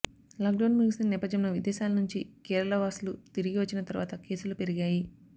lockdown ముగిసిన నేపథ్యంలో విదేశాల నుంచి కేరళవాసులు తిరిగి వచ్చిన తర్వాత కేసులు పెరిగాయి